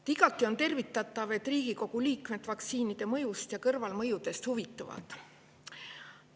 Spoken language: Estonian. On igati tervitatav, et Riigikogu liikmed vaktsiinide mõjust ja kõrvalmõjudest huvituvad.